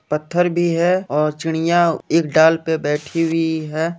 पत्थर भी है और चिड़िया एक डाल पे बैठी हुई है।